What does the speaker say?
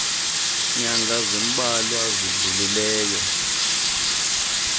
nyanga zimbalwa zidlulileyo